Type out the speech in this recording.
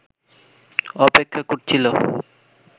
অপেক্ষা করছিল